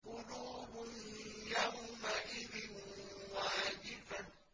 قُلُوبٌ يَوْمَئِذٍ وَاجِفَةٌ